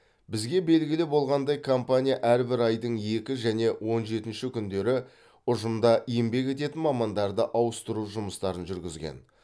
бізге белгілі болғандай компания әрбір айдың екі және он жетінші күндері ұжымда еңбек ететін мамандарды ауыстыру жұмыстарын жүргізген